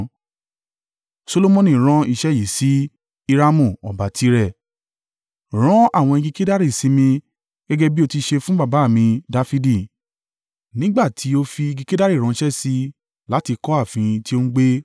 Solomoni rán iṣẹ́ yìí sí Hiramu ọba Tire: “Rán àwọn igi kedari sí mi gẹ́gẹ́ bí o ti ṣe fún baba à mi Dafidi. Nígbà tí ó fi igi kedari ránṣẹ́ sí i láti kọ́ ààfin tí ó ń gbé.